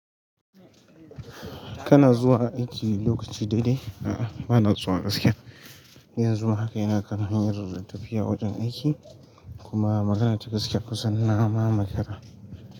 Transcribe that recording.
Kana zuwa aiki lokaci daidai? A'a, ba na zuwa gaskiya. Yanzu ma haka yana karon yin tafiya wajen aiki kuma magana ta gaske kusan na ma makara.